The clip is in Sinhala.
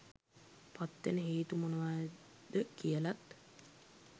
පත්වෙන හේතු මොනවාද කියලත්